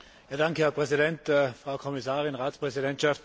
Herr Präsident, Frau Kommissarin, Ratspräsidentschaft!